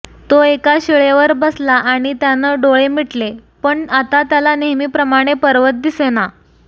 तो एका शिळेवर बसला आणि त्यानं डोळे मिटले पण आता त्याला नेहमी प्रमाणे पर्वत दिसेना